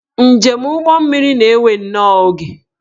Njem ụgbọmmiri na-ewe nnọọ oge